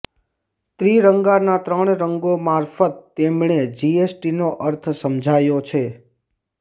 ત્રિરંગાના ત્રણ રંગો મારફત તેમણે જીએસટીનો અર્થ સમજાવ્યો છે